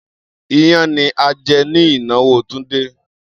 Iyán ní a jẹ ní ìnáwó Túndé.